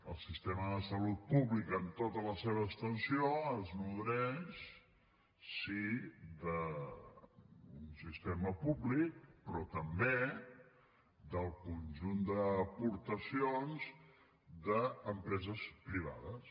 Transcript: el sistema de salut pública amb totes la seva extensió es nodreix sí d’un sistema públic però també del conjunt d’aportacions d’empreses privades